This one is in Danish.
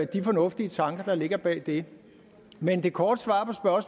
de fornuftige tanker der ligger bag det men det korte svar